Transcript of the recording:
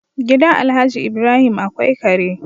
Gidan Alhaji Ibrahim akwai Kare